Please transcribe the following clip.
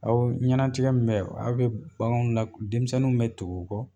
Awɔ ŋɛna tigɛ min be aw be bagan la denmisɛnninw be tugu o kɔ